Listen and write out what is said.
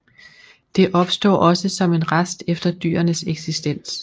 Det opstår også som en rest efter dyrenes eksistens